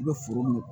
I bɛ foro min